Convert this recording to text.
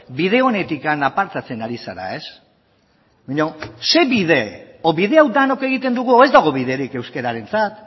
bide onetik apartatzen ari zara ez baina ze bide edo bide hau denok egiten dugu edo ez dago biderik euskarentzat